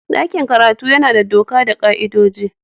Dakin karatu yana da doka da ka''idoji.